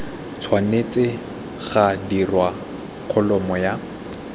tshwanetse ga dirwa kholomo ya